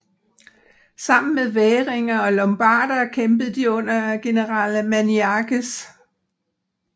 Sammen med væringer og lombarder kæmpede de under general Maniakes